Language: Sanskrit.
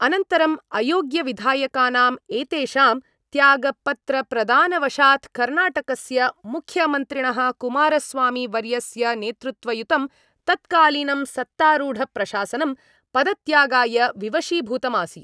अनन्तरं अयोग्यविधायकानाम् एतेषां त्यागपत्रप्रदानवशात् कर्णाटकस्य मुख्यमन्त्रिणः कुमारस्वामीवर्यस्यनेतृत्वयुतं तत्कालीनं सत्तारूढप्रशासनं पदत्यागाय विवशीभूतमासीत्।